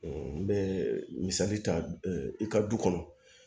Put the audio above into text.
n bɛ misali ta i ka du kɔnɔ